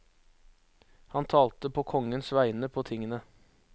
Han talte på kongens vegne på tingene.